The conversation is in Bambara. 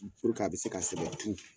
Puruke a be se ka sɛbɛ tu